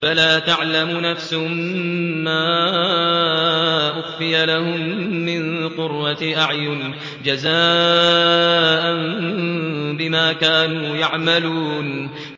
فَلَا تَعْلَمُ نَفْسٌ مَّا أُخْفِيَ لَهُم مِّن قُرَّةِ أَعْيُنٍ جَزَاءً بِمَا كَانُوا يَعْمَلُونَ